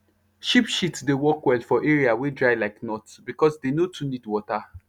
sheep shit dey work well for area wey dry like north because dey no too need water